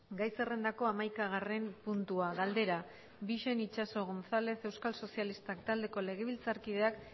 gai zerrendako hamaikagarren puntua galdera bixen itxaso gonzález euskal sozialistak taldeko legebiltzarkideak